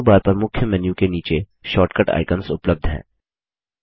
menu bar पर मुख्य menu के नीचे शॉर्टकट आइकन्स उपलब्ध हैं